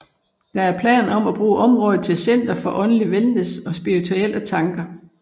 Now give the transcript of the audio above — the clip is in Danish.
Der er planer om at bruge området til et center for åndelig wellness og spirituelle tanker